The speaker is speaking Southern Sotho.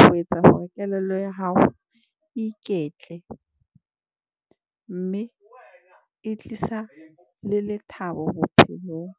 ho etsa hore kelello ya hao iketle, mme e tlisa le lethabo bophelong.